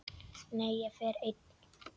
Nei, ég fer einn!